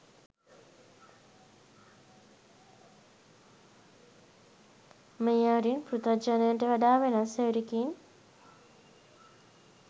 මේ අයුරින් පෘථග්ජනයාට වඩා වෙනස් අයුරකින්